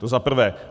To za prvé.